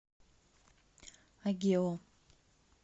агео